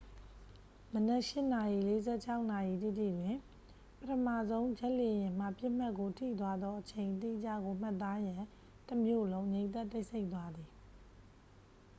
မနက် 8:46 နာရီတိတိတွင် ပထမဆုံးဂျက်လေယာဉ်မှ ပစ်မှတ်ကို ထိသွားသော အချိန်အတိကျကို မှတ်သားရန် တမြို့လုံး ငြိမ်သက်တိတ်ဆိတ်သွားသည်